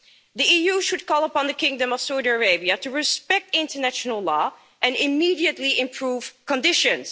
The EU should call upon the Kingdom of Saudi Arabia to respect international law and immediately improve conditions.